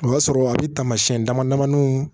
O y'a sɔrɔ a bɛ taamasiyɛn damadamanin